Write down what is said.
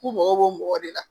K'u mago b'o mɔgɔ de la